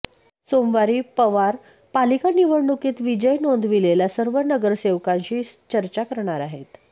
सोमवारी पवार पालिका निवडणुकीत विजय नोंदविलेल्या सर्व नगरसेवकांशी चर्चा करणार आहेत